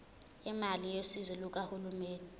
imali yosizo lukahulumeni